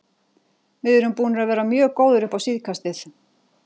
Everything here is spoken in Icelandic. Við erum búnir að vera mjög góðir upp á síðkastið.